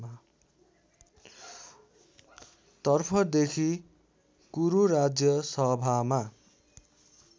तर्फदेखि कुरुराज्य सभामा